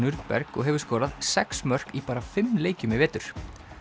Nürnberg og hefur skorað sex mörk í bara fimm leikjum í vetur